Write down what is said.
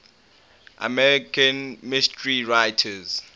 american mystery writers